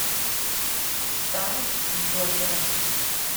танец джокера